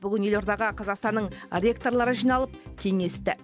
бүгін елордаға қазақстанның ректорлары жиналып кеңесті